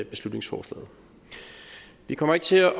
beslutningsforslaget vi kommer ikke til at